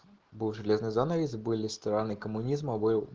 был железный занавес были стороны коммунизма был